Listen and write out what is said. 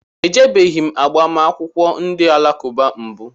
Ejebeghi m agbamakwụkwọ ndị alakụba mbụ